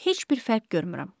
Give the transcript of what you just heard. Heç bir fərq görmürəm.